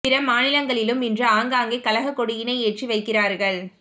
பிற மாநிலங்களிலும் இன்று ஆங்காங்கே கழகக் கொடியினை ஏற்றி வைக்கிறார்கள்